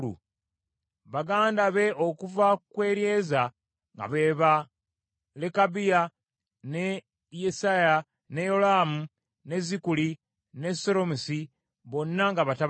Baganda be okuva ku Eryeza nga be ba Lekabiya, ne Yesaya, ne Yolaamu, ne Zikuli ne Seromosi, bonna nga batabani be.